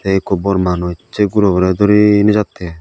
ikko bor manus sey guroborey duri nejattey.